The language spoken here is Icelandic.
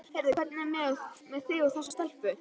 Heyrðu, hvernig er með þig og þessa stelpu?